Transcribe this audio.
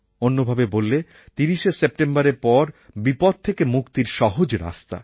অন্য ভাবে বললে ৩০শে সেপ্টেম্বরের পর বিপদ থেকে মুক্তির সহজ রাস্তা